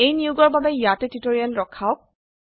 এই নিয়োগৰ বাবে ইয়াতে টিউটোৰিয়েল ৰখাওক